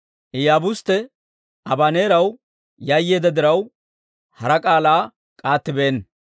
Iyaabustte Abaneeraw yayyeedda diraw, hara k'aalaa k'aattibeenna.